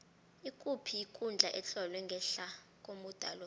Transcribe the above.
ikuphi ikundla etlolwe ngehla komuda lo